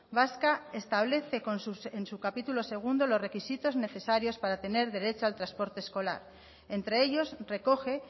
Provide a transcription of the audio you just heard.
vasca establece en su capítulo segundo los requisitos necesarios para tener derecho al transporte escolar entre ellos recoge